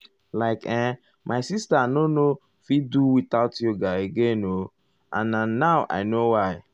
like[um]my sister nor nor fit do without yoga again o eh and now na i know why.